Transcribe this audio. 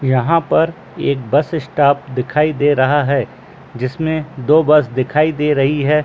यहाँ पर एक बस स्टॉप दिखाई दे रहा है जिसमें दो बस दिखाई दे रही है।